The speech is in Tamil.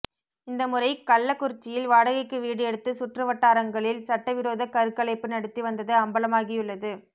இந்த முறை கள்ளக்குறிச்சியில் வாடகைக்கு வீடு எடுத்து சுற்றுவட்டாரங்களில் சட்டவிரோதக் கருக்கலைப்பு நடத்தி வந்தது அம்பலமாகியுள்ளது